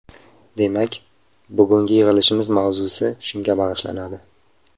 Demak, bugungi yig‘ilishimiz mavzusi shunga bag‘ishlanadi.